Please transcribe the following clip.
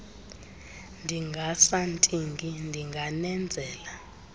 ndingasa ntingi ndinganenzela